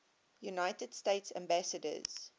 united states ambassadors